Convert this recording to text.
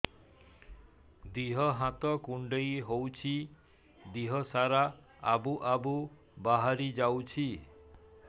ଦିହ ହାତ କୁଣ୍ଡେଇ ହଉଛି ଦିହ ସାରା ଆବୁ ଆବୁ ବାହାରି ଯାଉଛି